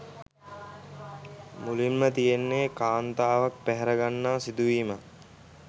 මුලින්ම තියෙන්නෙ කාන්තාවක් පැහරගන්නා සිදුවීමක්.